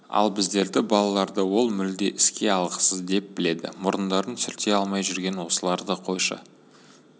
ал біздерді балаларды ол мүлде іске алғысыз деп біледі мұрындарын сүрте алмай жүрген осыларды қойшы